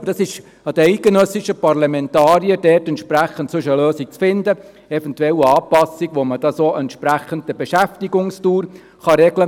Aber dies liegt an den eidgenössischen Parlamentariern dort eine Lösung zu finden, eventuell eine Anpassung, welche entsprechend der Beschäftigungsdauer etwas regelt.